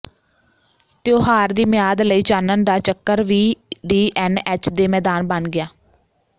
ਤਿਓਹਾਰ ਦੀ ਮਿਆਦ ਲਈ ਚਾਨਣ ਦਾ ਚੱਕਰ ਵੀ ਡੀ ਐਨ ਐਚ ਦੇ ਮੈਦਾਨ ਬਣ ਗਿਆ